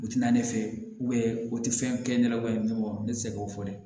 U ti na ne fɛ u tɛ fɛn kɛ ɲɛnɛbɔ ne tɛ se k'o fɔ dɛ